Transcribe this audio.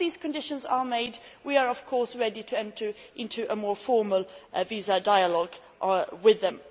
Once these conditions are met, we are, of course, ready to enter into a more formal visa dialogue with them.